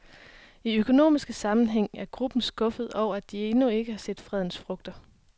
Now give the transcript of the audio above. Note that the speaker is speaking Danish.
I økonomisk sammenhæng er gruppen skuffede over, at de endnu ikke har set fredens frugter.